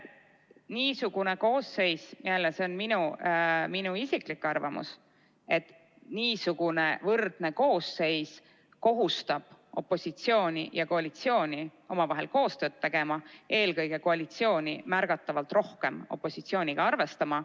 Niisugune võrdne koosseis – jällegi, see on minu isiklik arvamus – kohustab opositsiooni ja koalitsiooni omavahel koostööd tegema, eelkõige koalitsiooni märgatavalt rohkem opositsiooniga arvestama.